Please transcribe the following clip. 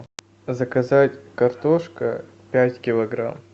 заказать картошка пять килограмм